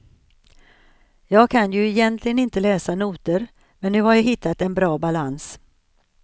Jag kan ju egentligen inte läsa noter, men nu har jag hittat en bra balans.